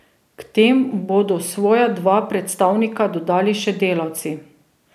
K tem bodo svoja dva predstavnika dodali še delavci.